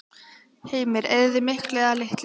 Heimir: Eyðið þið miklu eða litlu?